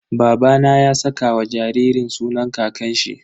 Babana ya saka wa jaririn sunan kakanshi.